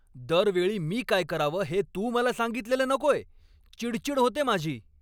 दरवेळी मी काय करावं हे तू मला सांगितलेलं नकोय. चिडचिड होते माझी.